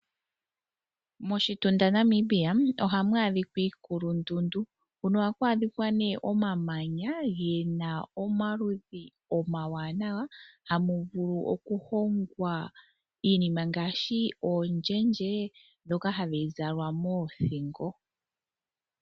Moshitunda Namibia oha mu adhika iikulundundu. Ohaku adhika omamanya gomaludhi omawanawa na oha mu vulu okuhongwa iinima ngaashi oondjendje ndhoka hadhi zalwa moothingo.